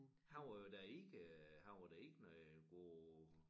Han var da inde han var da inde i god